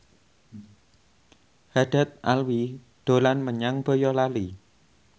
Haddad Alwi dolan menyang Boyolali